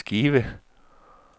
skive